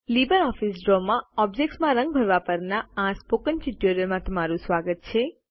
LibreOffice Draw માં ઓબ્જેક્ત્સમાં રંગ ભરવા પરના આ સ્પોકન ટ્યુટોરિયલમાં તમારું સ્વાગત છે